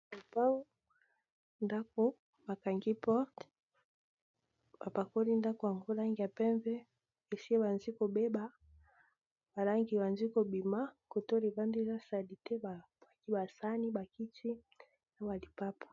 Lupangu ndako bakangi porte bapakoli ndako yango langi ya pembe esi ebanzi kobeba balangi ebanzi kobima kotoyo libanda eza salite ba buaki basani bakiti na ba lipapa.